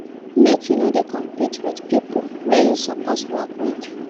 Make you no dey compete wit pipo wey you suppose work wit.